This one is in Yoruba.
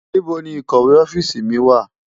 NIbó ni ikòwé òfisi mi wá?